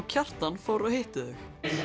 Kjartan fóru og hittu